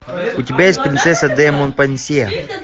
у тебя есть принцесса де монпансье